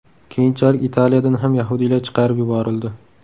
Keyinchalik Italiyadan ham yahudiylar chiqarib yuborildi.